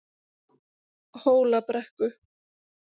Hólabrekku